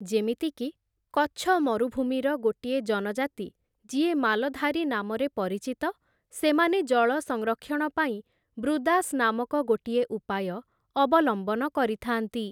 ଯେମିତିକି, କଚ୍ଛ ମରୁଭୂମିର ଗୋଟିଏ ଜନଜାତି, ଯିଏ ମାଲଧାରୀ ନାମରେ ପରିଚିତ, ସେମାନେ ଜଳ ସଂରକ୍ଷଣ ପାଇଁ ବୃଦାସ୍ ନାମକ ଗୋଟିଏ ଉପାୟ ଅବଲମ୍ବନ କରିଥାନ୍ତି ।